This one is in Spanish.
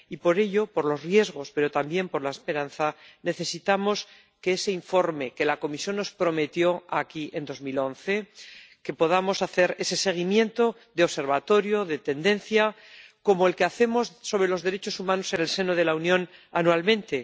y por ello —por los riesgos, pero también por la esperanza— necesitamos ese informe que la Comisión nos prometió aquí en 2011, que podamos hacer ese seguimiento de observatorio, de tendencias, como el que hacemos sobre los derechos humanos en el seno de la Unión anualmente